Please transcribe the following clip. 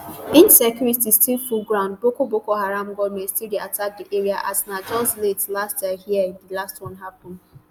insecurity still full ground boko boko haram gunmen still dey attack di area as na just late last year hia di last one happun